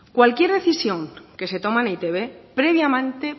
cualquier decisión que se toma en e i te be previamente